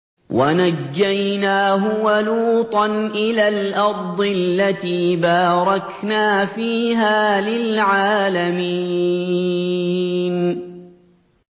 وَنَجَّيْنَاهُ وَلُوطًا إِلَى الْأَرْضِ الَّتِي بَارَكْنَا فِيهَا لِلْعَالَمِينَ